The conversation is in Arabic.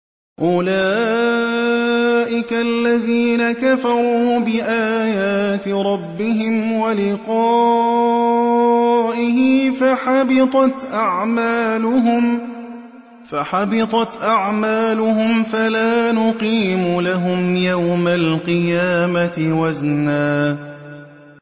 أُولَٰئِكَ الَّذِينَ كَفَرُوا بِآيَاتِ رَبِّهِمْ وَلِقَائِهِ فَحَبِطَتْ أَعْمَالُهُمْ فَلَا نُقِيمُ لَهُمْ يَوْمَ الْقِيَامَةِ وَزْنًا